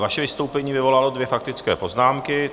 Vaše vystoupení vyvolalo dvě faktické poznámky.